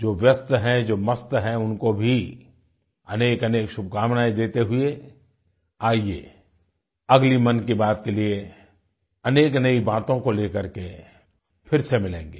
जो व्यस्त हैं जो मस्त हैं उनको भी अनेकअनेक शुभकामनाएँ देते हुए आइये अगली मन की बात के लिए अनेकअनेक बातों को लेकर के फिर से मिलेंगे